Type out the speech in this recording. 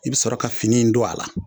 I bi sɔrɔ ka fini in don a la